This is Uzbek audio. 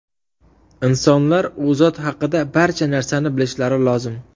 Insonlar U zot haqida barcha narsani bilishlari lozim.